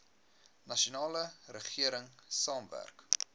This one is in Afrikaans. nasionale regering saamwerk